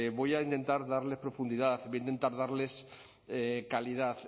voy a intentar darles profundidad voy a intentar darles calidad